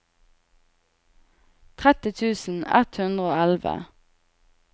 tretti tusen ett hundre og elleve